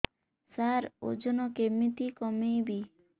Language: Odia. ସାର ଓଜନ କେମିତି କମେଇବି